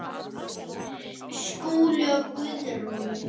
Skúli og Guðrún.